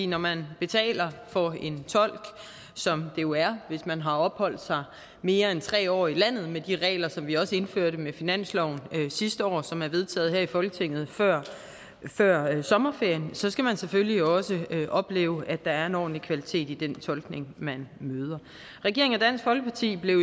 når man betaler for en tolk som det jo er hvis man har opholdt sig mere end tre år i landet med de regler som vi også indførte med finansloven sidste år og som blev vedtaget her i folketinget før før sommerferien så skal man selvfølgelig også opleve at der er en ordentlig kvalitet i den tolkning man møder regeringen og dansk folkeparti blev i